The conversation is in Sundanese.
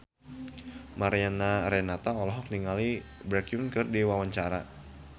Mariana Renata olohok ningali Baekhyun keur diwawancara